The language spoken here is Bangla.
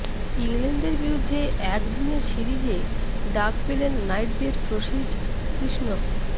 ইংল্যান্ডের বিরুদ্ধে একদিনের সিরিজে ডাক পেলেন নাইটদের প্রসিধ কৃষ্ণ